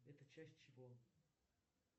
это часть чего